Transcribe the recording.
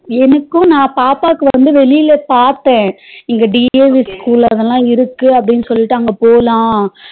எனக்கும் நா பாப்பாவுக்கு வந்து வெளிய பாத்த இங்க dove school ல அதுல இருக்கு அப்டினு சொல்லிட்டு அங்க போலாம்